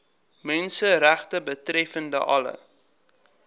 menseregte betreffende alle